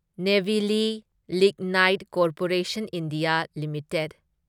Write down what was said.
Neyveli lignite corporation India limited